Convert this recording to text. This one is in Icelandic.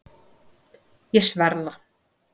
Ég sver það.